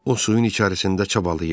O suyun içərisində çabalayır.